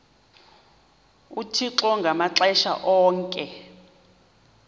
uthixo ngamaxesha onke